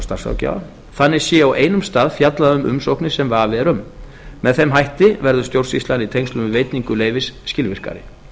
starfsráðgjafa þannig sé á einum stað fjallað um umsóknir sem vafi er um með þeim hætti verður stjórnsýslan í tengslum við veitingu leyfis skilvirkari